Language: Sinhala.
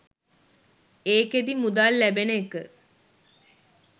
ඒකෙදි මුදල් ලැබෙන එක